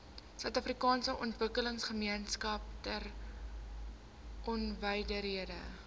suidafrikaanse ontwikkelingsgemeenskap tegnonywerhede